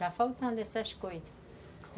Está faltando essas coisas.